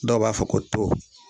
Dɔw b'a fɔ ko to